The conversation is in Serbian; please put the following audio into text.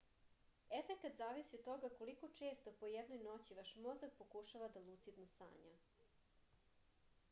efekat zavisi od toga koliko često po jednoj noći vaš mozak pokušava da lucidno sanja